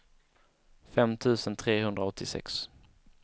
fem tusen trehundraåttiosex